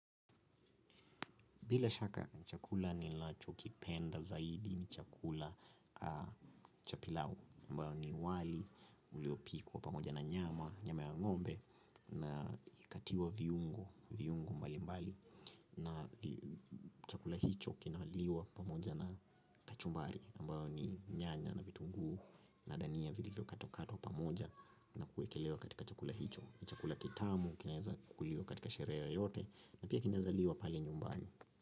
Bila shaka chakula nilachokipenda zaidi ni chakula cha pilau ambao ni wali, uliopikwa pamoja na nyama, nyama ya ngombe. Na ikikatiwa viungo, viungo mbali mbali. Na chakula hicho kinaliwa pamoja na kachumbari ambayo ni nyanya na vitungu na dania vilivyo katwa katwa pamoja. Na kuekelewa katika chakula hicho. Ni chakula ketamu, kinaeza kuliwa katika sherehe yoyote. Na pia kinaezaliwa pale nyumbani.